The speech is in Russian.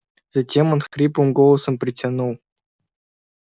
затем он хриплым голосом протянул